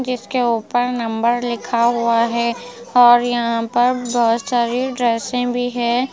जिसके ऊपर नंबर लिखा हुआ है और यहाँ पर बहुत सारी ड्रेसें भी है ।